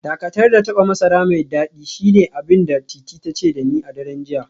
Dakatar da taba masara mai dadi shine abin da Titi ta ce da ni a daren jiya